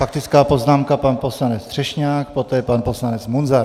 Faktická poznámka pan poslanec Třešňák, poté pan poslanec Munzar.